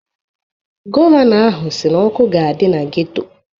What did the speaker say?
Gọvanọ ahụ si na ọkụ ga-adị na geto.